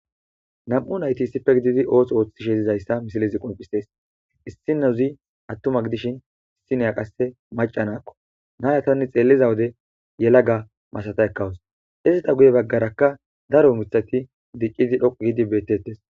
nam7u nayti issipfe gididi ooso ooththisheezizayssa misilizi qoncistes issineuzi attuma gidishin issiniya qasse macanakko naayatanni xeelliza wode yelaga masata ekkawus izita guye baggarakka daro mitati diccidi dhoqu giidi bettettes